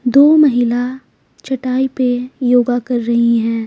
दो महिला चटाई पे योगा कर रही हैं।